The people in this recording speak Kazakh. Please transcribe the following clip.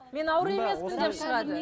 мен ауру емеспін деп шығады